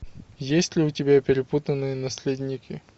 есть ли у тебя перепутанные наследники